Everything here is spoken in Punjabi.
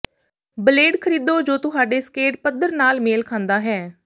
ਬਲੇਡ ਖਰੀਦੋ ਜੋ ਤੁਹਾਡੇ ਸਕੇਟ ਪੱਧਰ ਨਾਲ ਮੇਲ ਖਾਂਦਾ ਹੈ